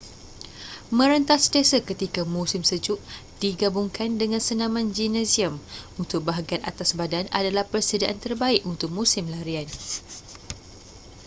merentas desa ketika musim sejuk digabungkan dengan senaman gimnasium untuk bahagian atas badan adalah persediaan terbaik untuk musim larian